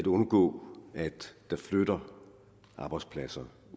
undgå at der flytter arbejdspladser